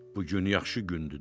Bu gün yaxşı gündür